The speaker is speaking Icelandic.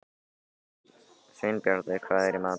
Sveinbjartur, hvað er í matinn?